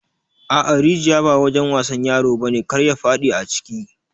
A'a rijiƴa ba wajen wasan ƴaro bane kar ya fadi aciki.